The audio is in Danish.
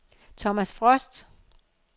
Thomas Frost